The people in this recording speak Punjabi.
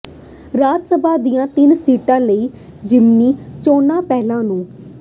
ਰਾਜ ਸਭਾ ਦੀਆਂ ਤਿੰਨ ਸੀਟਾਂ ਲਈ ਜ਼ਿਮਨੀ ਚੋਣਾਂ ਪਹਿਲੀ ਨੂੰ